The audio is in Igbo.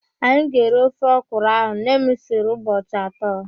Anyị ga-eri ofe ọkwurụ ahụ nne m siri ụbọchị atọ.